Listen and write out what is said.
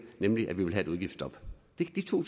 nemlig med et udgiftsstop det er to